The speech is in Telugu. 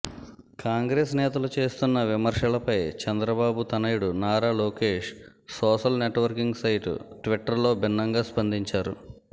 కాంగ్రెస్ నేతలు చేస్తున్న విమర్శలపై చంద్రబాబు తనయుడు Nara Lokesh social networking site ట్విట్టర్లో భిన్నంగా స్పందించారు